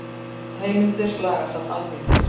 Heimildir Lagasafn Alþingis.